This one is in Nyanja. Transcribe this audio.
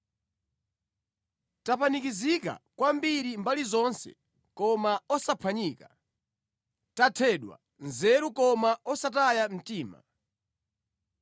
Tapanikizika kwambiri mbali zonse koma osaphwanyika; tathedwa nzeru koma osataya mtima;